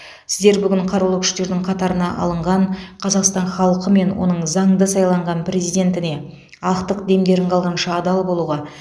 сіздер бүгін қарулы күштердің қатарына алынған қазақстан халқы мен оның заңды сайланған президентіне ақтық демдерін қалғанша адал болуға